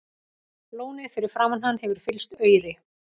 Lónið fyrir framan hann hefur fyllst auri.